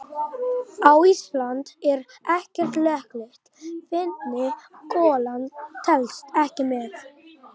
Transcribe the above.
Á Íslandi er ekkert löggilt vitni: golan telst ekki með.